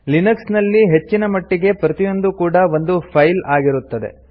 Linux ನಲ್ಲಿ ಹೆಚ್ಚಿನ ಮಟ್ಟಿಗೆ ಪ್ರತಿಯೊಂದೂ ಕೂಡಾ ಒಂದು ಫೈಲ್ ಆಗಿರುತ್ತದೆ